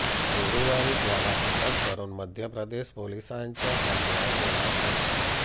गुरुवारी त्याला अटक करून मध्यप्रदेश पोलिसांच्या ताब्यात देण्यात आले